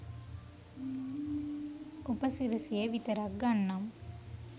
උපසිරැසිය විතරක් ගන්නම්